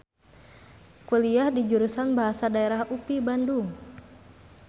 Kuliah di Jurusan Bahasa Daerah UPI Bandung.